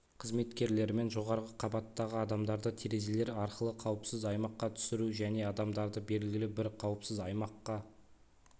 қызметкерлерімен жоғарғы қабаттағы адамдарды терезелер арқылы қауіпсіз аймаққа түсіру және адамдарды белгілі бір қауіпсіз аймаққа